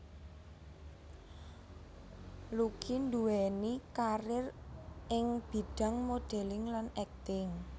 Lucky nduwèni karir ing bidhang modeling lan akting